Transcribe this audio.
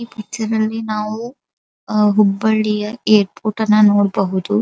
ಈ ಪಿಕ್ಚರಲ್ಲಿ ನಾವು ಹುಬ್ಬಳಿಯ ಏರ್ಪೋರ್ಟ್ ಅನ್ನ ನೋಡಬಹುದು.